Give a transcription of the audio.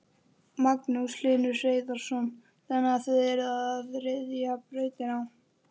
Magnús Hlynur Hreiðarsson: Þannig að þið eruð að ryðja brautina?